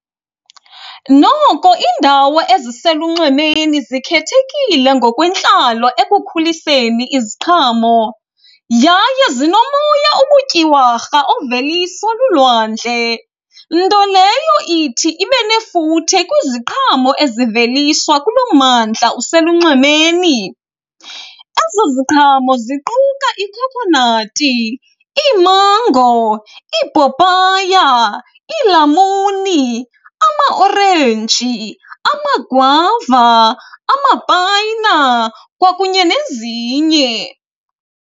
Noko indawo eziselunxwemeni zikhethekile ngokwentlalo ekukhuliseni iziqhamo yaye zinomoya obutyiwarha oveliswa lulwandle. Nto leyo ithi ibe nefuthe kwiziqhamo eziveliswa kulo mmandla uselunxwemeni. Ezo ziqhamo ziquka ikhokhonati, iimango, ipapaya, iilamuni, amaorenji, amagwava, amapayina kwakunye nezinye.